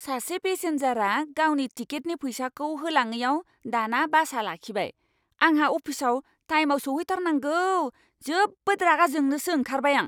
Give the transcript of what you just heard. सासे पेसेनजारआ गावनि टिकेटनि फैसाखौ होलाङैआव दाना बासआ लाखिबाय। आंहा अफिसआव टाइमआव सौहैथारनांगौ, जोबोद रागा जोंनोसो ओंखारबाय आं!